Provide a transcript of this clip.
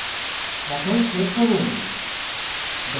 এখন check করুন